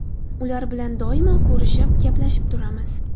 Ular bilan doimo ko‘rishib, gaplashib turamiz.